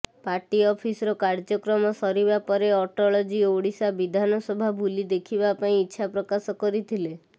party ଅଫିସର କାର୍ୟ୍ୟକ୍ରମ ସରିବା ପରେ ଅଟଳଜୀ ଓଡିଶା ବିଧାନସଭା ବୁଲି ଦେଖିବା ପାଇଁ ଇଚ୍ଛା ପ୍ରକାଶ କରିଥିଲେ